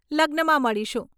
લગ્નમાં મળીશું.